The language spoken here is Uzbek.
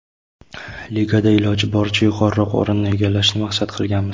Ligada iloji boricha yuqoriroq o‘rinni egallashni maqsad qilganmiz.